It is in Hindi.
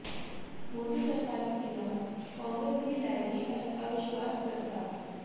मोदी सरकार के खिलाफ कांग्रेस भी लाएगी अविश्वास प्रस्ताव